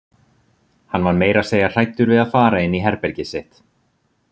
Hann var meira að segja hræddur við að fara inn í herbergið sitt.